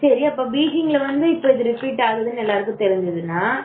சரி அப்ப பிஜிஎம் வந்து repet ஆகுதுன்னு எல்லாருக்கும் தெரிஞ்சதுனா